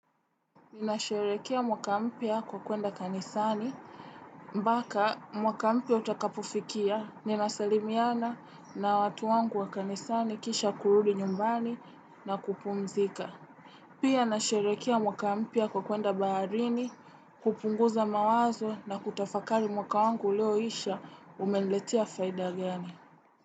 Ninasherehekea mwaka mpya kwa kuenda kanisani, mpaka mwaka mpya utakapofikia, ninasalimiana na watu wangu wa kanisani kisha kurudi nyumbani na kupumzika. Pia nasherehekea mwaka mpya kwa kuenda baharini, kupunguza mawazo na kutafakari mwaka wangu ulioisha umeniletea faida gani.